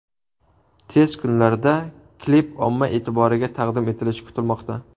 Tez kunlarda klip omma e’tiboriga taqdim etilishi kutilmoqda.